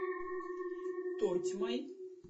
тотьмой